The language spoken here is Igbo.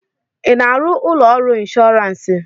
ị na-arụ ụlọ ọrụ ịnshọọransị?